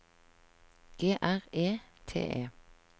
G R E T E